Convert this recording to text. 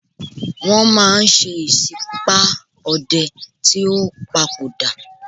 Wọ́n máa ń ṣe ìsípá ọdẹ tí ó padò dà.